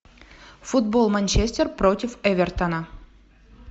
футбол манчестер против эвертона